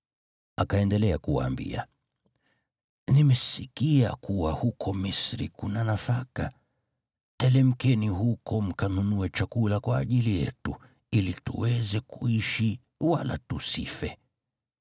Akaendelea kuwaambia, “Nimesikia kuwa huko Misri kuna nafaka. Telemkeni huko mkanunue chakula kwa ajili yetu, ili tuweze kuishi wala tusife.”